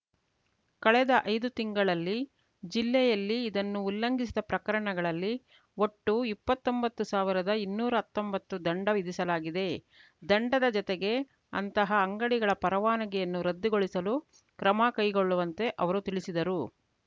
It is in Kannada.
ಕಳೆದ ಐದು ತಿಂಗಳಲ್ಲಿ ಜಿಲ್ಲೆಯಲ್ಲಿ ಇದನ್ನು ಉಲ್ಲಂಘಿಸಿದ ಪ್ರಕರಣಗಳಲ್ಲಿ ಒಟ್ಟು ಇಪ್ಪತ್ತೊಂಬತ್ತು ಸಾವಿರದ ಇನ್ನೂರಾ ಹತ್ತೊಂಬತ್ತು ದಂಡ ವಿಧಿಸಲಾಗಿದೆ ದಂಡದ ಜತೆಗೆ ಅಂತಹ ಅಂಗಡಿಗಳ ಪರವಾನಗಿಯನ್ನು ರದ್ದುಗೊಳಿಸಲು ಕ್ರಮ ಕೈಗೊಳ್ಳುವಂತೆ ಅವರು ತಿಳಿಸಿದರು